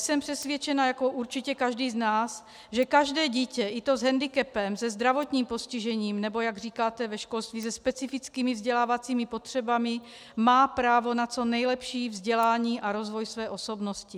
Jsem přesvědčena jako určitě každý z nás, že každé dítě, i to s hendikepem, se zdravotním postižením, nebo jak říkáte ve školství se specifickými vzdělávacími potřebami, má právo na co nejlepší vzdělání a rozvoj své osobnosti.